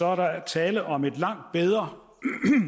er der tale om en langt bedre